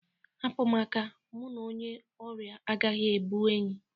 Hapụ m aka, mụ n'onye ori agaghị abụ enyi!